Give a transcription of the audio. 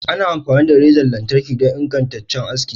Ana amfani da razan lantarki don ingantaccen aski.